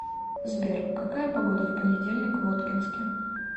сбер какая погода в понедельник в воткинске